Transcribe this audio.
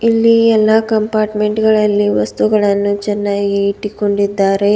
ಇಲ್ಲಿ ಎಲ್ಲಾ ಕಂಪಾರ್ಟ್ಮೆಂಟ್ ಗಳಲ್ಲಿ ವಸ್ತುಗಳನ್ನು ಚೆನ್ನಾಗಿ ಇಟ್ಟುಕೊಂಡಿದ್ದಾರೆ.